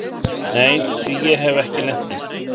Nei því hef ég ekki lent í.